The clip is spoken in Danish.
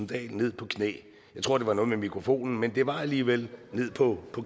dahl ned på knæ jeg tror det var noget med mikrofonen men det var alligevel ned på